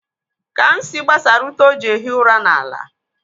Kamsi gbasara ute o ji ehi ụra n'ala.